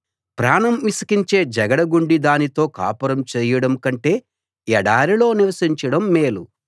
ప్రాణం విసికించే జగడగొండి దానితో కాపురం చెయ్యడం కంటే ఎడారిలో నివసించడం మేలు